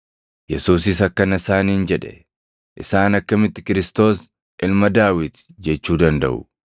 Yesuusis akkana isaaniin jedhe; “Isaan akkamitti Kiristoos + 20:41 yookaan Masiihichi ilma Daawit jechuu dandaʼu?